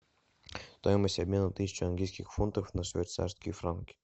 стоимость обмена тысяча английских фунтов на швейцарские франки